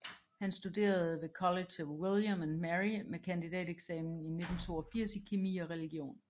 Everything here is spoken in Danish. Han studerede ved College of William and Mary med kandidateksamen 1982 i kemi og religion